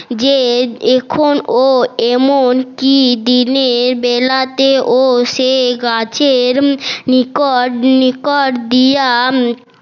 যে এখন ও এমন কি দিনের বেলাতেও সে গাছের নিকট নিকট দিয়া